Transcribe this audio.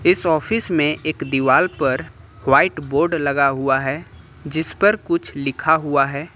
इस ऑफिस में एक दीवाल पर व्हाइट बोर्ड लगा हुआ है जिसपर कुछ लिखा हुआ है।